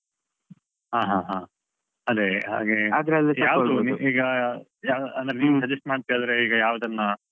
ಹ ಹ ಹ ಅದೇ ಹಾಗೆ ಯಾವ್ದು ಈಗ ಅಂದ್ರೆ ನೀವು suggest ಮಾಡುದಾದ್ರೆ ಈಗ ಯಾವದನ್ನ,